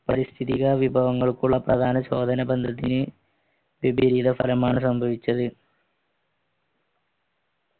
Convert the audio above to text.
പരിസ്ഥിതിക വിഭവങ്ങൾക്കുള്ള പ്രധാന ബന്ധത്തിന് വിപരീത ഫലമാണ് സംഭവിച്ചത്